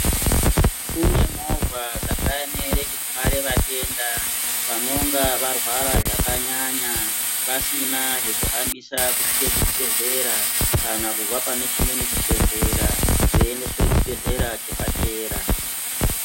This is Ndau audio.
Kune movha dzakaemere kutware vatenda vanonga varwara zvakanyanya vasina zvokuhambisa kusvike kuchibhedhlera kana kubva panechimweni chibhedhlera veyiyendeswe kuchibhedhlera chepadera